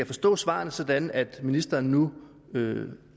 forstå svarene sådan at ministeren nu